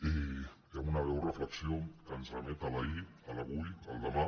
i amb una breu reflexió que ens remet a l’ahir a l’avui al demà